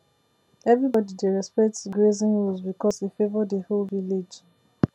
everybody dey respect grazing rules because e favour the whole village